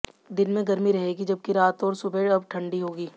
दिन में गर्मी रहेगी जबकि रात और सुबहें अब ठंडी होंगी